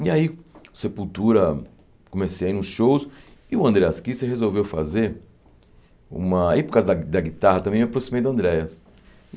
E aí, Sepultura comecei a ir nos shows, e o Andreas Kisser resolveu fazer uma... E por causa da da guitarra também eu me aproximei do Andreas.